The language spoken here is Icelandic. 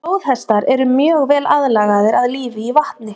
flóðhestar eru mjög vel aðlagaðir að lífi í vatni